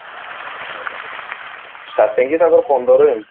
starting ହିଁ ତାଙ୍କର ପନ୍ଦର ଏମିତି